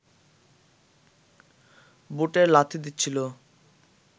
বুটের লাথি দিচ্ছিল